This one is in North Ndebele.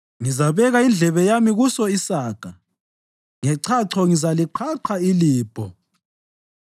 Ngizabeka indlebe yami kuso isaga; ngechacho ngizaliqhaqha ilibho: